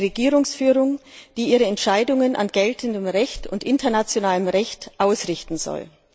Eine Regierungsführung, die ihre Entscheidungen an geltendem und internationalem Recht ausrichten soll.